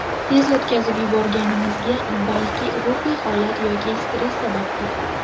Tez o‘tkazib yuborganimizga balki ruhiy holat yoki stress sababdir.